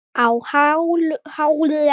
Á háum hælum.